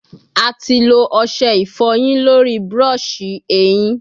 A ti lo ọṣẹ ifoyin lori brush ehin